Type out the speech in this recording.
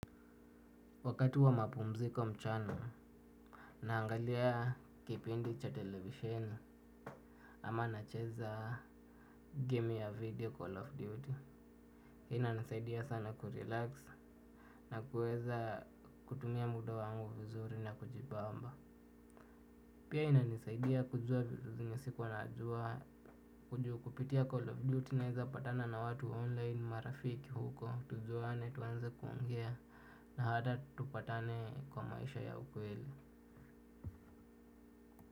Wakati wa mapumziko mchana naangalia kipindi cha televisheni ama nacheza game ya video call of duty ina nisaidia sana kurelax nakuweza kutumia muda wangu vizuri na kujibamba pia ina nisaidia kujua vitu zenye sikuanajua kujukupitia call of duty naiza patana na watu online marafiki huko tujuane tuanze kuongea na hata tupatane kwa maisha ya ukweli.